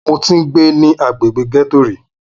Mo ti ń gbé ní agbègbè ghetto rí.